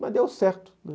Mas deu certo.